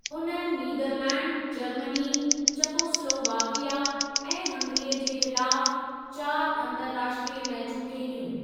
उन्हनि Netherlands, Germany, Czechoslovakia ऐं हंगरीअ के ख़िलाफ़ चारि अंतरराष्ट्रीय मैचूं खेॾियूं।